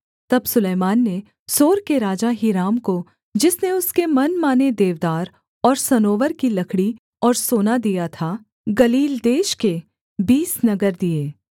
तब सुलैमान ने सोर के राजा हीराम को जिसने उसके मनमाने देवदार और सनोवर की लकड़ी और सोना दिया था गलील देश के बीस नगर दिए